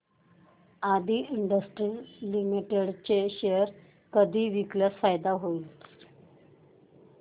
आदी industries limited चे share कधी विकल्यास फायदा होईल